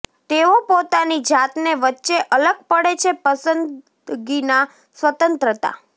તેઓ પોતાની જાતને વચ્ચે અલગ પડે છે પસંદગીના સ્વતંત્રતા